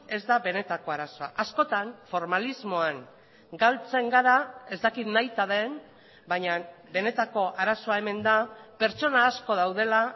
ez da benetako arazoa askotan formalismoan galtzen gara ez dakit nahita den baina benetako arazoa hemen da pertsona asko daudela